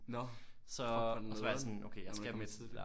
Nå! Fuck hvor nederen når du var kommet tidligt